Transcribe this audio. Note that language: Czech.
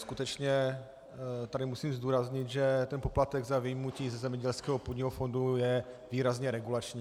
Skutečně tady musím zdůraznit, že ten poplatek za vyjmutí ze zemědělského půdního fondu je výrazně regulační.